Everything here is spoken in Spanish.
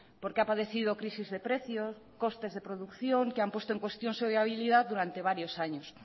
porque ha padecido crisis de precios costes de producción que han puesto en cuestión su viabilidad durante varios años